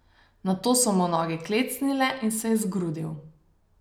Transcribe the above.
Nato so mu noge klecnile in se je zgrudil.